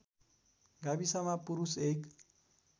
गाविसमा पुरुष १